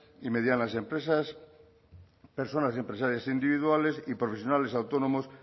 y medianas empresas personas empresarias individuales y profesionales autónomos